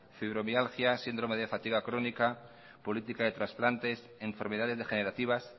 fibromialgias síndrome de fatiga crónica política de transplantes enfermedades degenerativas